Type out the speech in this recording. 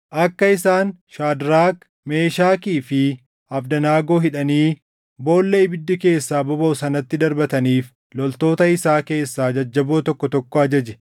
akka isaan Shaadraak, Meeshakii fi Abdanaagoo hidhanii boolla ibiddi keessaa bobaʼu sanatti darbataniif loltoota isaa keessaa jajjaboo tokko tokko ajaje.